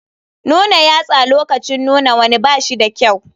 Nuna yatsa lokacin nuna wani ba shi da kyau.